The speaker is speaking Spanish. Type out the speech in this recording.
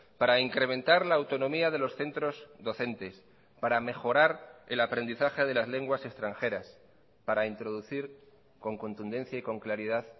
para incrementar la autonomía de los centros docentes para mejorar el aprendizaje de las lenguas extranjeras para introducir con contundencia y con claridad